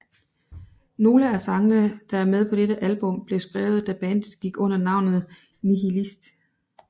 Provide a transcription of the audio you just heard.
Nogle af sangene der er med på dette album blev skrevet da bandet gik under navnet Nihilist